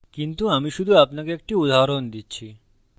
কিন্তু আমি শুধু আপনাকে একটি উদাহরণ দিচ্ছি